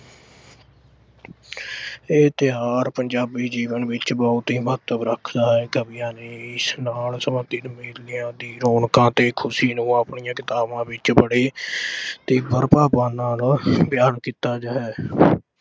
ਇਹ ਤਿਓਹਾਰ ਪੰਜਾਬੀ ਜੀਵਨ ਵਿੱਚ ਬਹੁਤ ਹੀ ਮਹੱਤਵ ਰੱਖਦਾ ਹੈ। ਕਵੀਆਂ ਨੇ ਇਸ ਨਾਲ ਸਬੰਧਤ ਮੇਲਿਆਂ ਦੀਆਂ ਰੌਣਕਾਂ ਤੇ ਖੁਸ਼ੀਆਂ ਨੂੰ ਆਪਣੀਆਂ ਕਿਤਾਬਾਂ ਵਿੱਚ ਬੜੇ ਤੀਬਰ ਭਾਵਾਂ ਨਾਲ ਬਿਆਨ ਕੀਤਾ ਗਿਆ ਹੈ।